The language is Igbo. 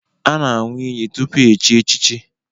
A na-aṅụ iyi tupu echi echichi